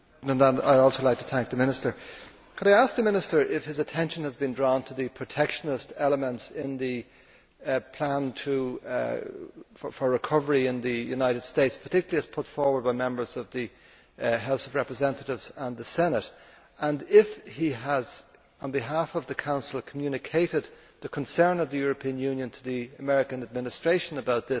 I would like to ask the Minister if his attention has been drawn to the protectionist elements in the plan for recovery in the United States, particularly as put forward by members of the House of Representatives and the Senate, and if he has, on behalf of the Council, communicated the concern of the European Union to the American Administration about this.